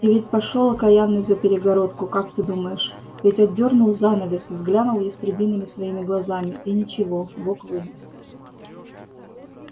и ведь пошёл окаянный за перегородку как ты думаешь ведь отдёрнул занавес взглянул ястребиными своими глазами и ничего бог вынес